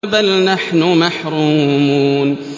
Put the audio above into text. بَلْ نَحْنُ مَحْرُومُونَ